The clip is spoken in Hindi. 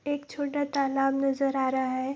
एक छोटा तालाब नजर आ रहा है।